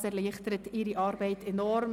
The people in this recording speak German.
Dies erleichtert ihre Arbeit enorm.